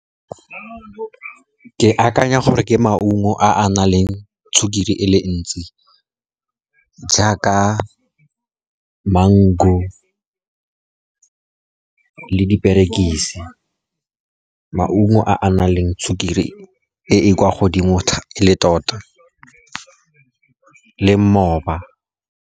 Ke akanya gore ke maungo a na leng sukiri e le ntsi jaaka mango le diperekise, maungo a na leng sukiri e e kwa godimo le tota le mmoba.